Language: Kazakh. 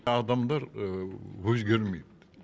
адамдар өзгермейді